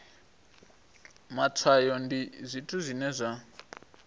matshwayo ndi zwithu zwine zwa